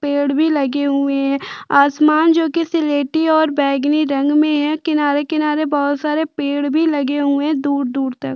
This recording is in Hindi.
पेड भी लगे हुए है आसमान जो की सिलेटी और बैंगनी रंग मे है किनारे - किनारे बोहोत सारे पेड़ भी लगे हुए है दूर - दूर तक --